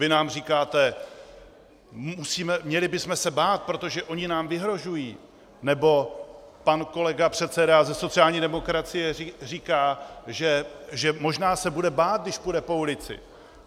Vy nám říkáte: měli bychom se bát, protože oni nám vyhrožují, nebo pan kolega, předseda ze sociální demokracie, říká, že možná se bude bát, když půjde po ulici.